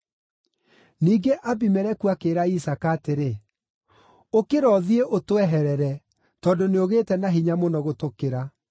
Ningĩ Abimeleku akĩĩra Isaaka atĩrĩ, “Ũkĩra ũthiĩ, ũtweherere, tondũ nĩũgĩĩte na hinya mũno gũtũkĩra.”